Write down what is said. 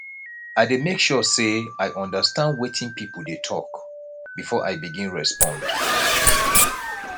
i dey make sure sey i understand wetin pipo dey tok before i begin respond